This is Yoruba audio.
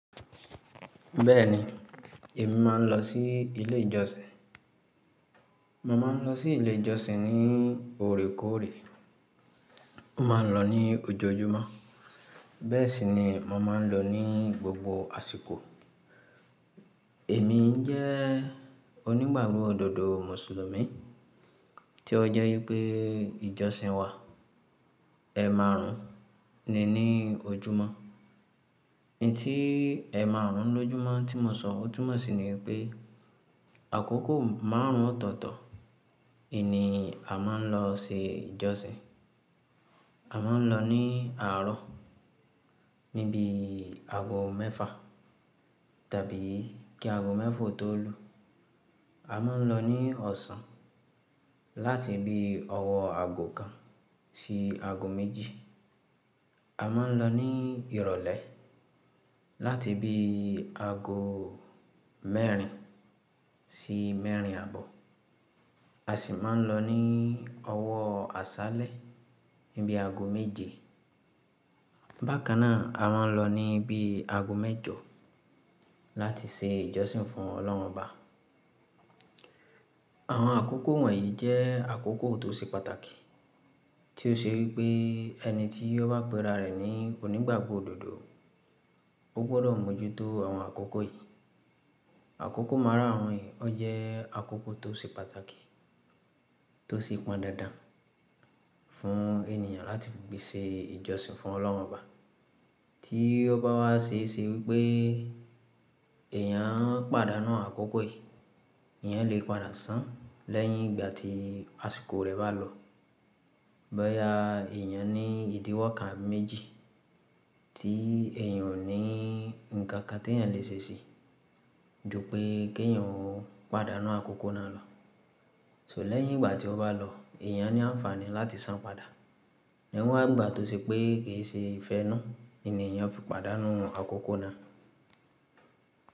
Bẹ́ẹ̀ni, èmi má a ń lọ sí ilé ìjọsìn. Mo máa ń lọ sí ilé ìjọsìn ní òrékòórè. Mo má ń lọ ní ojojúmọ́. Bẹ́ẹ̀ sì ni mo máa ń lọ ní gbogbo àsìkò. Èmi ń jẹ́ onígbàgbọ́ òdodo mùsùlùmí, tí ó jẹ́ wípé ìjọsìn wa, ẹ̀ márùn ún ni ní ojúmọ́. Ẹ̀ tí ẹ̀ márùn ún lójúmọ́ tí mo sọ, ó túmọ̀ sí ní pé, àkókò márùn ún ọ̀tọ̀ọ̀tọ̀, yìí ni a máa ń lọ se ìjọsìn. A máa ń lọ ní àárọ̀, níbi àgọ́ mẹ́fà tàbí kí àgọ́ mẹ́fà tó lu. A máa ń lọ ní ọ̀sán, láti ibi ọwọ́ àgọ́ kan sí àgọ́ méjì. A máa ń lọ ní ìrọ̀lẹ́, láti ibi àgọ́ mẹ́rin sí mẹ́rin àbọ̀. A sì máa ń lọ ní owó àṣálẹ́, níbi àgọ́ méje. Bákan náà, a máa ń lọ ní bíi àgọ́ mẹ́jọ láti se ìjọsìn fún Ọlọ́run Ọba. Àwọn àkókò wọ̀nyí jẹ́ àkókò tó ṣe pàtàkì, tí ó ṣe wípé ẹni tí ó bá péra rẹ̀ ní onígbàgbọ́ òdodo, ó gbọdọ̀ mójútó àwọn àkókò yìí. Àkókò márà wọ̀nyí, ó jẹ́ àkókò tó ṣe pàtàkì, tó ṣi pọn dandan fún ènìyàn láti gbe ṣe ìjọsìn fún Ọlọ́run Ọba. Tí ó bá wá ṣe ṣe wípé èèyàn pàdánù àkókò yìí, ìyẹn lè padà sàn lẹ́yìn ìgbà tí àsìkò rẹ̀ bá lọ. Boya èèyàn ní ìdíwọ́ kan méjì tí èèyàn ò ní nǹkan kan tí èèyàn lè ṣe sì ju pé kí èèyàn ó pàdánù àkókò náà lọ. So lẹ́yìn ìgbà tí ó bá lọ, èèyàn ní àǹfààní láti sàn padà. Níwọ́n ìgbà tó ṣe pé kì í ṣe ìfẹ́ inú ni èèyàn fi pàdánù àwọn àkókò náà.